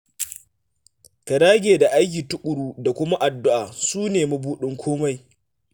Ka dage da aiki tuƙuru da kuma addu'a, su ne mabudin komai